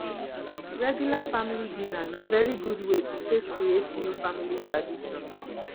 regular family dinner na very good way to take create new family tradition